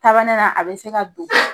ne la, a bɛ se ka don